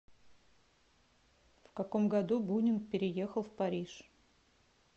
в каком году бунин переехал в париж